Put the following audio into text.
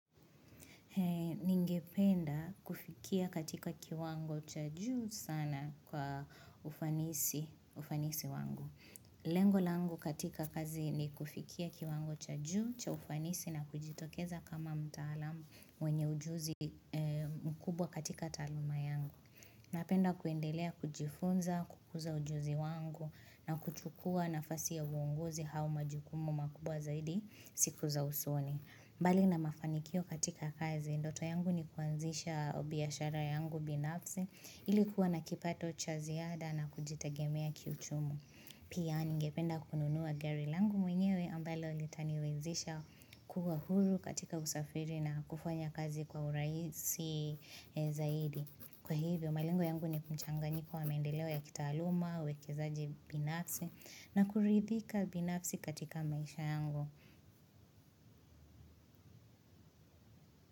Ninge penda kufikia katika kiwango cha juu sana kwa ufanisi wangu. Lengo langu katika kazi ni kufikia kiwango cha juu cha ufanisi na kujitokeza kama mtaalamu wenye ujuzi mkubwa katika taaluma yangu. Napenda kuendelea kujifunza, kukuza ujuzi wangu na kuchukua na fasi ya uonguzi au ma jukumu makubwa zaidi siku za usoni. Mbali na mafanikio katika kazi, ndoto yangu ni kuanzisha biashara yangu binafsi ilikuwa na kipato cha ziada na kujitagemea kiuchumu. Pia ningependa kununua gari langu mwenyewe ambalo litaniwezisha kuwa huru katika usafiri na kufanya kazi kwa urahisi zaidi. Kwa hivyo, malengo yangu ni kumchanga nyiko wa mendeleo ya kita aluma, uwekezaji binafsi na kuridhika binafsi katika maisha yangu.